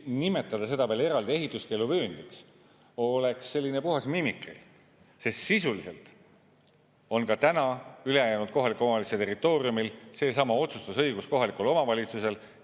Nimetada seda veel eraldi ehituskeeluvööndiks oleks selline puhas mimikri, sest sisuliselt on ka täna ülejäänud kohaliku omavalitsuse territooriumil seesama otsustusõigus kohalikul omavalitsusel.